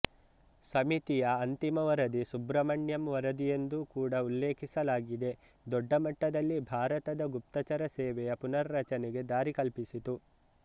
ಸಮಿತಿಯ ಅಂತಿಮ ವರದಿ ಸುಬ್ರಮಣ್ಯಂ ವರದಿಯೆಂದು ಕೂಡ ಉಲ್ಲೇಖಿಸಲಾಗಿದೆ ದೊಡ್ಡ ಮಟ್ಟದಲ್ಲಿ ಭಾರತದ ಗುಪ್ತಚರ ಸೇವೆಯ ಪುನರ್ರಚನೆಗೆ ದಾರಿ ಕಲ್ಪಿಸಿತು